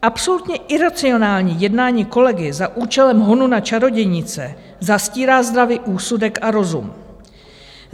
Absolutně iracionální jednání kolegy za účelem honu na čarodějnice zastírá zdravý úsudek a rozum.